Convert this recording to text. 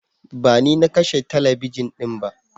Bani nakashe talabijin dinba.